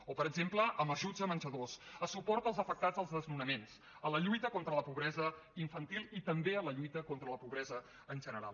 o per exemple amb ajuts a menjadors a suport als afectats dels desnonaments a la lluita contra la pobresa infantil i també a la lluita contra la pobresa en general